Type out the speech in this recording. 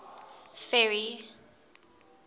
ferry